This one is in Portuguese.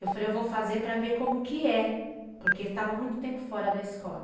Eu falei, eu vou fazer para ver como que é. Porque eu estava muito tempo fora da escola.